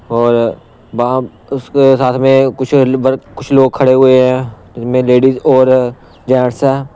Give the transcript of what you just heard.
और वह उसके साथ में कुछ ब कुछ लोग खड़े हुए हैं जिनमें लेडिस और जेंट्स है।